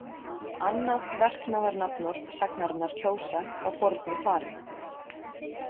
Annað verknaðarnafnorð sagnarinnar kjósa frá fornu fari.